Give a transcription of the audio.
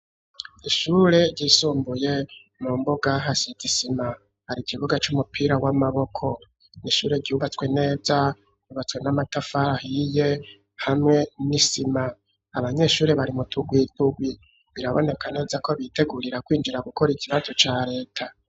Ishure ryisumbuye mu mbuga hase hasize isima hari ikibuga c'umupira w'amaboko n'ishure ryubatswe neza yubatswe n'amatafari hirya no Hino n'isima abanyeshure bari mutugwi tuwi biraboneka neza ko bitegurira kwinjira gukora ikinazo ca reta.